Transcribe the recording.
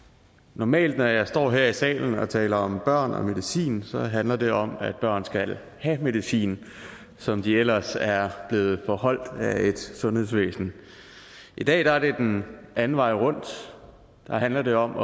normalt når jeg står her i salen og taler om børn og medicin handler det om at børn skal have medicin som de ellers er blevet forholdt af et sundhedsvæsen i dag er det den anden vej rundt der handler det om